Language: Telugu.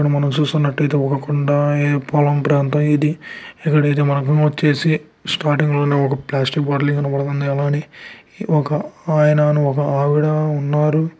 ఇక్కడ మనం చూసుకున్నట్టయితే ఒక కొండ పొలం ప్రాంతం ఇది. ఇక్కడ మనం. వచ్చేసి స్టార్టింగ్ ఒక ప్లాస్టిక్ బాటిల్ కనబడుతుంది. ఇక్కడ ఒక ఆయన ఒక ఆవిడ ఉన్నారు.